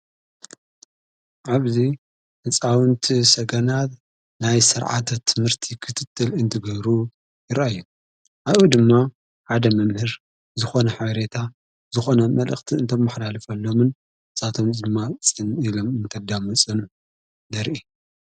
ዓብዙይ ሕፃውንቲ ሰገናት ናይ ሠርዓት ትምህርቲ ኽትትል እንትገብሩ ይረአዩን ኣብኡ ድማ ሓደ መምህር ዝኾነ ሐብሬታ ዝኾነ መልእኽቲ እንተመሕዳልፈሎምን ጻቶም ዘማጽን ኢሎም እንተዳመፅኑ ይርአ ::